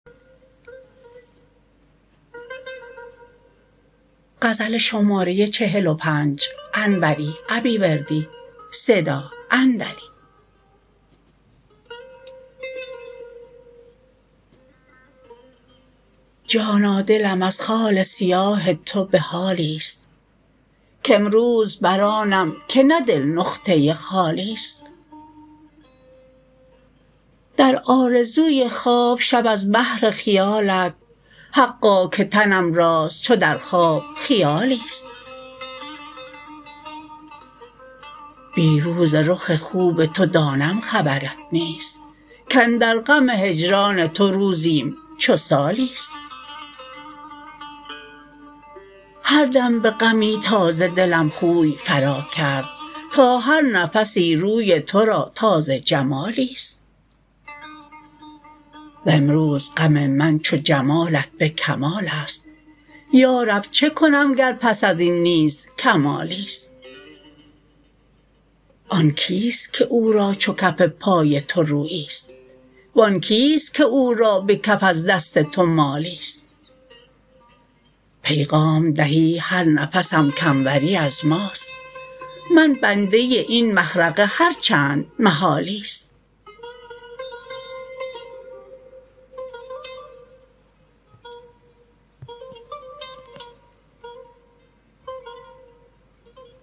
جانا دلم از خال سیاه تو به حالیست کامروز بر آنم که نه دل نقطه خالیست در آرزوی خواب شب از بهر خیالت حقا که تنم راست چو در خواب خیالیست بی روز رخ خوب تو دانم خبرت نیست کاندر غم هجران تو روزیم چو سالیست هردم به غمی تازه دلم خوی فرا کرد تا هر نفسی روی ترا تازه جمالیست وامروز غم من چو جمالت به کمالست یارب چه کنم گر پس ازین نیز کمالیست آن کیست که او را چو کف پای تو روییست وان کیست که او را به کف از دست تو مالیست پیغام دهی هر نفسم کانوری از ماست من بنده این مخرقه هر چند محالیست